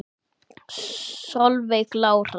Solveig Lára.